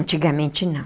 Antigamente não.